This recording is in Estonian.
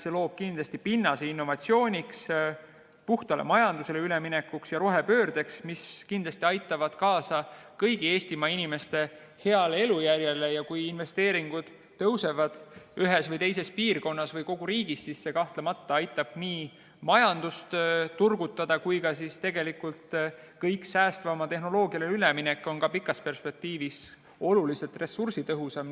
See loob kindlasti pinnase innovatsiooniks, puhtale majandusele üleminekuks ja rohepöördeks, mis kindlasti aitavad kaasa kõigi Eestimaa inimeste paremale elujärjele, ja kui investeeringud tõusevad ühes või teises piirkonnas või kogu riigis, siis see kahtlemata aitab nii majandust turgutada kui ka tegelikult on pikas perspektiivis kogu säästvamale tehnoloogiale üleminek oluliselt ressursitõhusam.